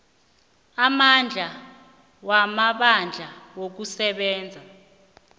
amandla wamabandla wokusebenza